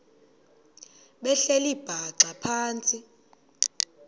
behleli bhaxa phantsi